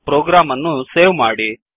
program ಅನ್ನು save ಮಾಡಿ